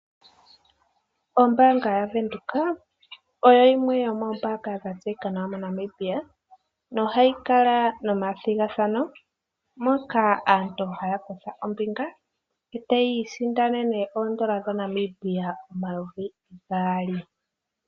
Ombaanga yaVenduka oyo yimwe yomoombanga dha tseyika nawa moNamibia, nohayi kala nomathigathano moka aantu haya kutha ombinga e tayi isindanene oondola dhaNamibia omayovi gaali.